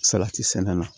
Salati sɛnɛ na